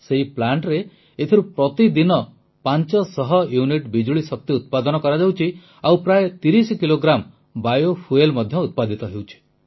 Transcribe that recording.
ସେହି ପ୍ଲାଂଟରେ ଏଥିରୁ ପ୍ରତିଦିନ 500 ୟୁନିଟ ବିଜୁଳି ଶକ୍ତି ଉତ୍ପାଦନ କରାଯାଉଛି ଆଉ ପ୍ରାୟ 30 କିଲୋଗ୍ରାମ ବାୟୋଫୁଏଲ୍ ମଧ୍ୟ ଉତ୍ପାଦିତ ହେଉଛି